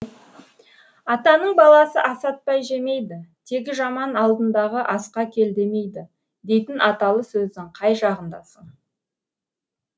атаның баласы асатпай жемейді тегі жаман алдындағы асқа кел демейді дейтін аталы сөздің қай жағындасың